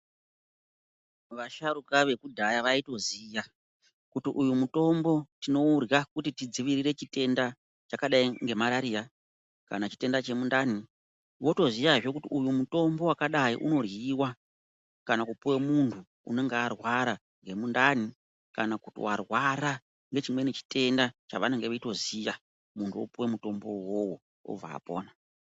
Vasharuka vekudhaya vaitoziya kuti uyu mutombo tinourya kuti tidzivirire chitenda chakadai nge marariya kana chitenda chemu ndani votoziya hee kuti mutombo wakadai uno ryiwa kana kupuwe muntu unenge warwara nge mundani kana kuti warara nechimwe chitenda chavanenge veitoziya muntu opowe mutombo wona wowo obva apona.